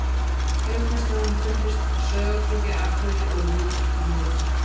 Auk þess hefur hann fundist Sauðárkróki, Akureyri og í Vík í Mýrdal.